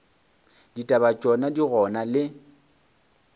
ditaba tšona di gona le